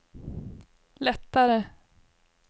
lättare